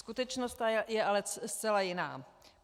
Skutečnost je ale zcela jiná.